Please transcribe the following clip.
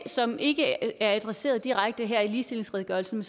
som ikke er adresseret direkte her i ligestillingsredegørelsen